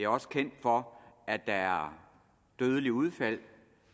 også kendt for at der er dødelige udfald